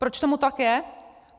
Proč tomu tak je?